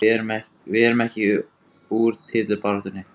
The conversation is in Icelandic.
Við erum ekki úr titilbaráttunni